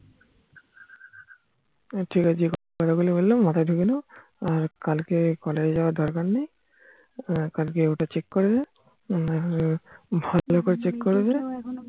ও ঠিক আছে যে কথা গুলো বললাম মাথায় ঢুকে নাও আর কালকে college যাওয়ার দরকার নেই কালকে ওটা check করে নাও না হলে ভালো করে চেক করবে